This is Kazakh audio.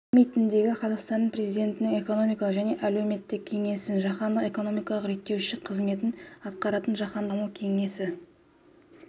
саммитіндегі қазақстан президентінің экономикалық және әлеуметтік кеңесін жаһандық экономикалық реттеуші қызметін атқаратын жаһандық даму кеңесі